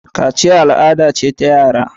Kaciya ibada ce ta yara.